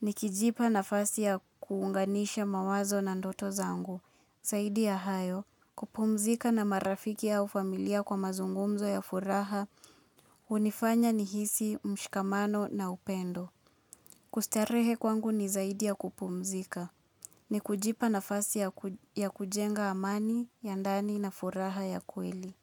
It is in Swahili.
nikijipa nafasi ya kuunganisha mawazo na ndoto zangu. Zaidi ya hayo, kupumzika na marafiki au familia kwa mazungumzo ya furaha, hunifanya nihisi, mshikamano na upendo. Kustarehe kwangu ni zaidi ya kupumzika, ni kujipa nafasi ya kujenga amani, ya ndani na furaha ya kweli.